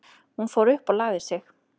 Hún fór upp og lagði sig.